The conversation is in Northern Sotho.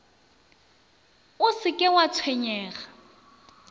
o se ke wa tshwenyega